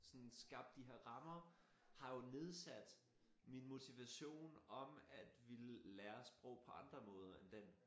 Sådan skabte de her rammer har jo nedsat min motivation om at ville lære sprog på andre måder end den